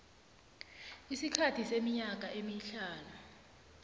isikhathi seminyaka emihlanu